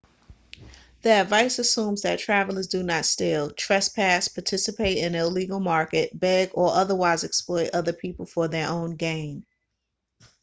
the advice assumes that travellers do not steal trespass participate in the illegal market beg or otherwise exploit other people for their own gain